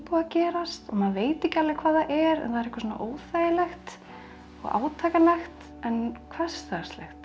að gerast og maður veit ekki alveg hvað það er en það er eitthvað óþægilegt og átakanlegt en hversdagslegt